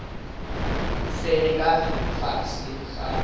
se be ka fase ga